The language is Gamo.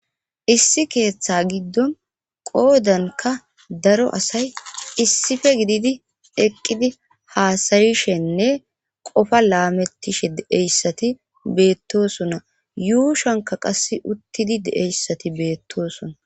Issi keeththa giddon qoodanka daro asay issife gididi eqqidi haasayishenne qofa laamettishe deeyssati beettosona yuushanka qas uttidi deeyssati beettosona